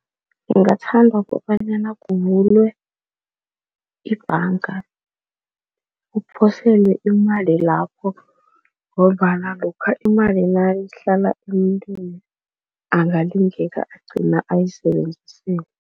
Ngingathanda kobanyana kuvulwe ibhanga, uphosele imali lapho ngombana lokha imali nayihlala emntwini angalingeka, agcina ayisebenzisile.